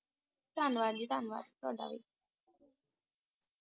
ਧੰਨਵਾਦ ਜੀ ਧੰਨਵਾਦ ਤੁਹਾਡਾ ਵੀ